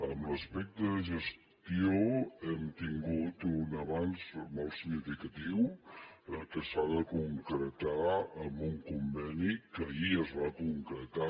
en l’aspecte de gestió hem tingut un avanç molt significatiu que s’ha de concretar en un conveni que ahir es va concretar